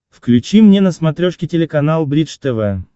включи мне на смотрешке телеканал бридж тв